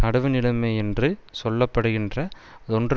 நடுவு நிலைமை யென்று சொல்ல படுகின்ற தொன்று